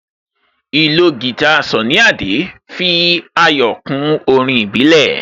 Ìlò guitar Sunny Adé fi ayọ̀ kún orin ìbílẹ̀